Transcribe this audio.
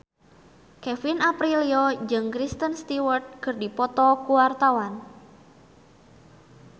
Kevin Aprilio jeung Kristen Stewart keur dipoto ku wartawan